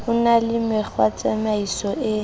ho na le mekgwatsamaiso e